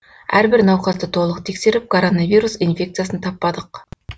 әрбір науқасты толық тексеріп коронавирус инфекциясын таппадық